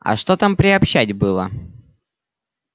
а что там приобщать было